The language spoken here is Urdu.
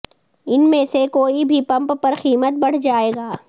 ان میں سے کوئی بھی پمپ پر قیمت بڑھ جائے گا